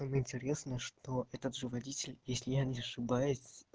интересно что этот же водитель если я не ошибаюсь